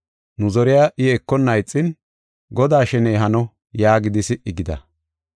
Nu zoriya I ekonna ixin, “Godaa sheney hano” yaagidi si77i gida.